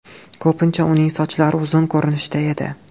Ko‘pincha uning sochlari uzun ko‘rinishda edi.